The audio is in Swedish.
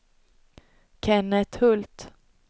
Kenneth Hult